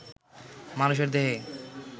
মানুষের দেহে